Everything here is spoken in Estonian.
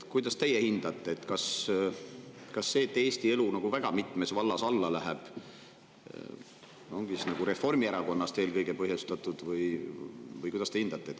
Kuidas teie hindate, kas see, et Eesti elu väga mitmes vallas alla läheb, ongi eelkõige Reformierakonna põhjustatud?